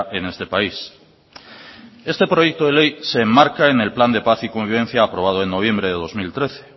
en este país este proyecto de ley se enmarca en el plan de paz y convivencia aprobado en noviembre de dos mil trece